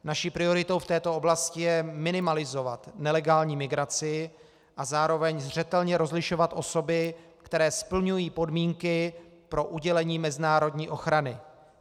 Naší prioritou v této oblasti je minimalizovat nelegální migraci a zároveň zřetelně rozlišovat osoby, které splňují podmínky pro udělení mezinárodní ochrany.